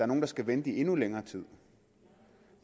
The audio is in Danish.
nogle der skal vente i endnu længere tid